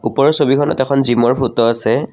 ওপৰৰ ছবিখনত এখন জিমৰ ফটো আছে।